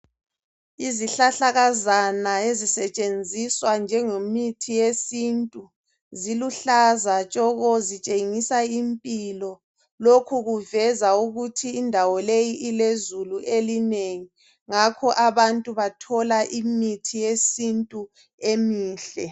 Izihlahlakaana ezisetshenziswa njengemithi yesintu zilihlaza tshoko zitshengisa impilo lokhu kuveza ukuthi ndawo leyi ilezulu elinengi ngakho abantu bathola imithi yesintu emihle